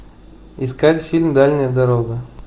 искать фильм дальняя дорога